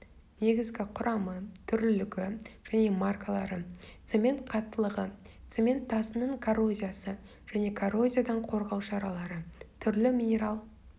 негізгі құрамы түрлілігі және маркалары цемент қаттылығы цемент тасының коррозиясы және коррозиядан қорғау шаралары түрлі минерал